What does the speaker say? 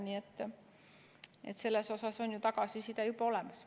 Nii et selles osas on ju tagasiside juba olemas.